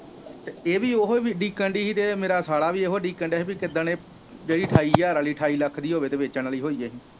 ਤੇ ਇਹ ਵੀ ਓਹੀ ਉਡੀਕਣ ਦੀ ਹੀ ਤੇ ਮੇਰਾ ਸਾਲਾ ਵੀ ਇਹੋ ਉਡੀਕਣ ਦਿਆ ਹੀ ਪੀ ਕਿੱਦਣ ਇਹ ਜਿਹੜੀ ਅਠਾਈ ਹਜ਼ਾਰ ਵਾਲੀ ਅਠਾਈ ਲੱਖ ਦੀ ਹੋਵੇ ਤੇ ਵੇਚਣ ਵਾਲੇ ਹੋਈਏ।